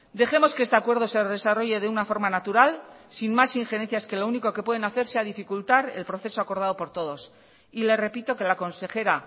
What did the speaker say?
dejemos que este acuerdo se desarrolle de una forma natural sin más injerencias que lo único que pueden hacer sea dificultar el proceso acordado por todos y le repito que la consejera